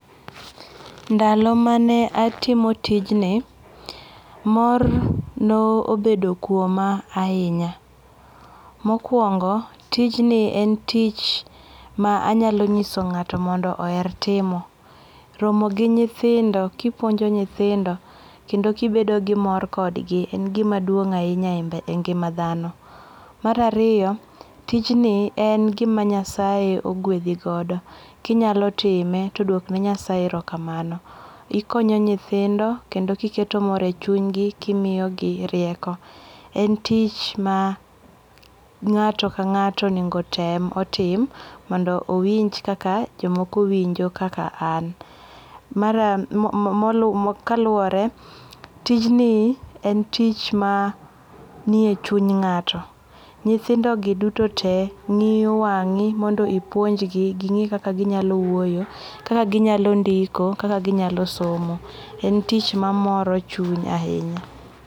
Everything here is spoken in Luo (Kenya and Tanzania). Ndalo mane atimo tijni, mor nobedo kuoma ahinya. Mokwongo, tijni en tich ma anyalo nyiso ng'ato mondo oher timo. Romo gi nyithindo kipuonjo nyithindo kendo kibedo gi mor kodgi en gima duong' ahinya e ngima dhano. Mar ariyo, tijni en gima Nyasaye ogwedhi godo. Kinyalo time to dwok ne Nyasaye erokamano. Ikonyo nyithindo kendo kiketo mor e chunygi kimiyogi rieko. En tich ma ng'ato ka ng'ato onego tem otim mondo owinj kaka jomoko winjo kaka an. Kaluwore, tijni en tich ma nie chuny ng'ato. Nyithindogi duto tee ng'iyo wangi' mondo ipuonjgi ging'i kaka ginyalo wuoyo, kaka ginyalo ndiko, kaka ginyalo somo. En tich mamoro chuny ahinya.